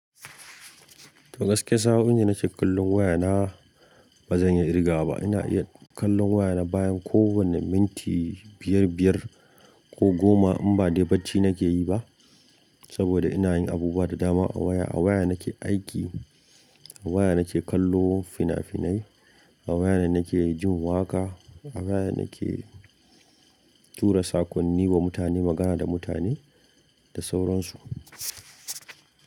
To gaskiya, saoin da nake kallon waya na ba zan iya kirgawaba. Ina iya kallon waya na bayan kowane minti biyar-biyar ko goma in ba dai bacci na ke yi ba. Saboda ina yin abubuwa da dama a waya. A waya na ke aiki, a waya na ke kallo fina-finai, a waya ne na ke jin waƙa, a waya na ke tura sakonni wa mutane, magana da mutane da sauran su.